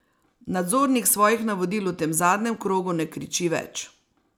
Nadzornik svojih navodil v tem zadnjem krogu ne kriči več.